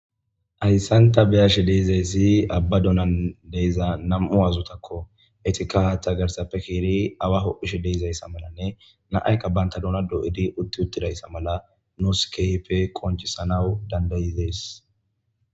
Hayssan ta beyashe deizayssi abba doonan diza nam'u aazotakko. Eetikka haaththa garsappe ke'idi awa ho'ishe de'izayssa malanne nam'aykka banta doona doyidi utti uttidayssa mala nuus kehippe qoncisanaw danda'idees.